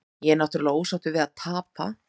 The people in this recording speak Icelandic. Ég er náttúrulega ósáttur við að tapa.